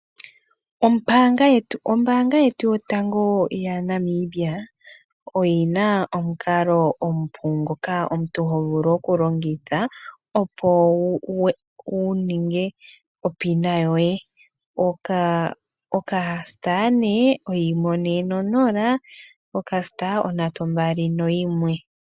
Oombaanga yetu yotango yaNamibia oyi na omukalo omupu ngoka omuntu ho vulu okulongitha opo wu ninge opina yoye, okasta ne oyimwe one nonola, okasta ondatu nombali noyimwe.